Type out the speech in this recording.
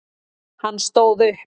Hann stóð upp.